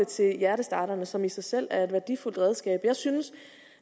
til hjertestarterne som i sig selv er et værdifuldt redskab jeg synes at